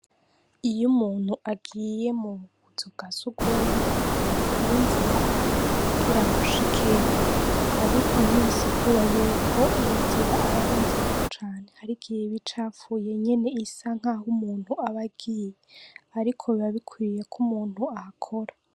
Iyo umuntu agiye mu kazu ka sugumwe hari inzira afata kugira ngo ashikeyo, ariko ntibisigura yuko iyo nzira aba ari nziza cane, har'igihe iba icafuye nyene isa nkaho umuntu aba agiye, ariko biba bikwiye ko umuntu ahakora.